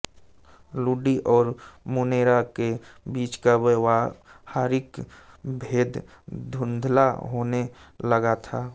लुडी और मुनेरा के बीच का व्यावहारिक भेद धुंधला होने लगा था